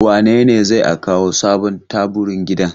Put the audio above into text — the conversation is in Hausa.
Wane ne zai a kawo sabon taburin gidan?